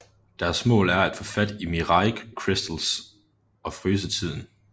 Deres mål er at få fat i Mirai Crystals og fryse tiden